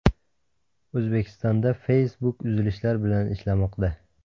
O‘zbekistonda Facebook uzilishlar bilan ishlamoqda.